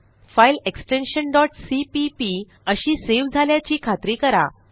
file extension cpp अशी save झाल्याची खात्री करा